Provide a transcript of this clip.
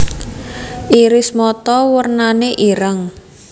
Iris mata wernane ireng